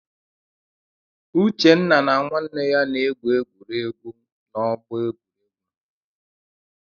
Uchenna na nwanne ya na-egwu egwuregwu n'ọgbọ egwuregwu.